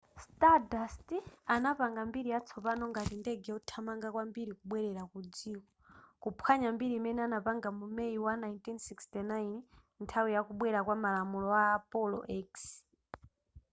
stardust apanga mbiri yatsopano ngati ndege yothamanga kwambiri kubwerera ku dziko kuphwanya mbiri imene anapanga mu may wa 1969 nthawi ya kubwera kwa malamulo a apollo x